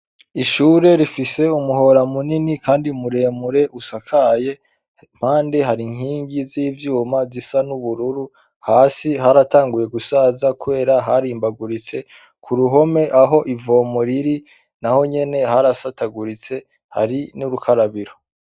Ishure rifise umuhora munini kandi muremure usakaye, impande hari inkingi z'ivyuma zisa n'ubururu, hasi haratanguye gusaza kubera harimbaguritse, ku ruhome aho ivomo riri na ho nyene harasataguritse, hari n'ubukarabiro.